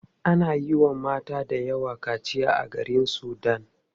Ana yiwa mata dayawa kaciya a garin sudan.